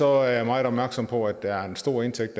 er jeg meget opmærksom på at der er en stor indtægt